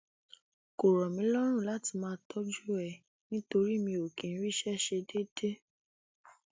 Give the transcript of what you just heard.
kò rọ mí lọrùn láti máa tọjú ẹ nítorí mi ò kì í ríṣẹ ṣe déédé